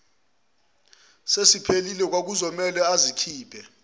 sesiphelile kwakuzomele azikhiphe